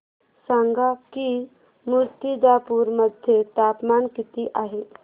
सांगा की मुर्तिजापूर मध्ये तापमान किती आहे